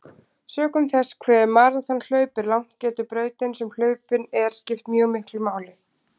Sökum þess hve maraþonhlaup er langt getur brautin sem hlaupin er skipt mjög miklu máli.